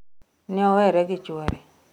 Neowere gi chuore.